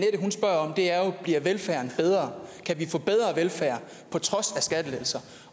bliver velfærden bedre kan vi få bedre velfærd på trods af skattelettelser